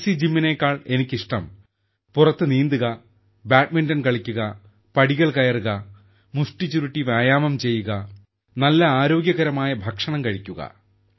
fancy ജിമ്മിനെക്കാൾ എനിക്ക് ഇഷ്ടം പുറത്ത് നീന്തൽ ബാഡ്മിന്റൺ കളിക്കുക പടികൾ കയറുക വ്യായാമം ചെയ്യുക നല്ല ആരോഗ്യകരമായ ഭക്ഷണം കഴിക്കുക